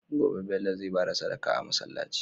Gobe Bello zai bada Sadaka a masalaci